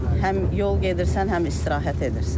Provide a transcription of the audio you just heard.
Həm yol gedirsən, həm istirahət edirsən.